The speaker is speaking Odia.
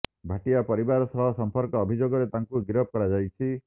ଭାଟିଆ ପରିବାର ସହ ସଂପର୍କ ଅଭିଯୋଗରେ ତାଙ୍କୁ ଗିରଫ କରାଯାଇଛି